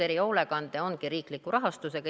Erihoolekanne ongi riikliku rahastusega.